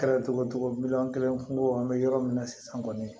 Kɛra cogo cogo miliyɔn kelen kunko an bɛ yɔrɔ min na sisan kɔni